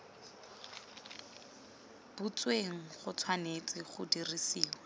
butsweng go tshwanetse ga dirisiwa